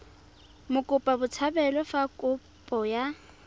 mokopa botshabelo fa kopo ya